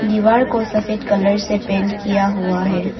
दीवार को सफेद कलर से पेंट किया हुआ है।